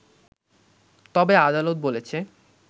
তবে আদালত বলেছে